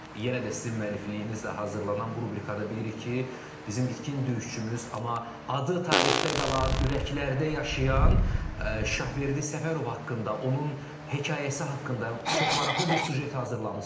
Yenə də sizin müəllifliyinizdə hazırlanan bu rubrikada bilirik ki, bizim itkin döyüşçümüz, amma adı tarixdə qalan, ürəklərdə yaşayan Şahverdi Səfərov haqqında, onun hekayəsi haqqında çox maraqlı bir süjet hazırlamısınız.